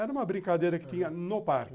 Era uma brincadeira que tinha no parque.